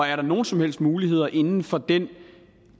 er der nogen som helst muligheder inden for den